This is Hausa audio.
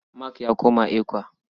Mark ya koma ECWA.